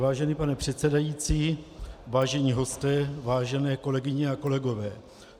Vážený pane předsedající, vážení hosté, vážené kolegyně a kolegové.